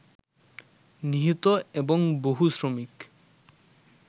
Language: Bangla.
নিহত এবং বহু শ্রমিক